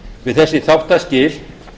við þessi þáttaskil